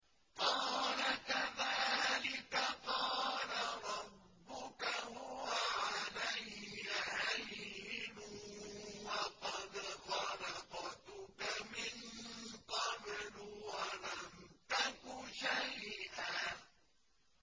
قَالَ كَذَٰلِكَ قَالَ رَبُّكَ هُوَ عَلَيَّ هَيِّنٌ وَقَدْ خَلَقْتُكَ مِن قَبْلُ وَلَمْ تَكُ شَيْئًا